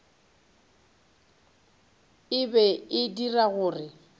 e be e dira gore